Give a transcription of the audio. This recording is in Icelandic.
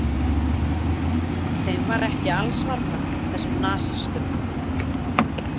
Þeim var ekki alls varnað, þessum nasistum.